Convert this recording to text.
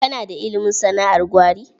Kana da ilimin sana'ar gwari?